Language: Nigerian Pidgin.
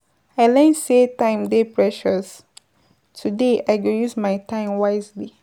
I learn sey time dey precious, today I go use my time wisely.